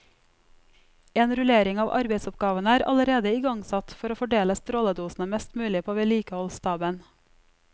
En rullering av arbeidsoppgavene er allerede igangsatt for å fordele stråledosene mest mulig på vedlikeholdsstaben.